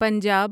Punjab